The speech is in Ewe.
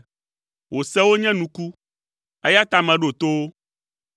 Wò sewo nye nuku, eya ta meɖo to wo.